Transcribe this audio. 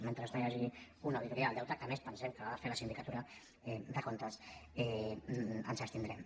mentre no hi hagi una auditoria del deute que a més pensem que l’ha de fer la sindicatura de comptes ens abstindrem